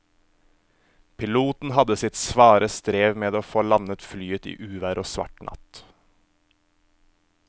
Piloten hadde sitt svare strev med å få landet flyet i uvær og svart natt.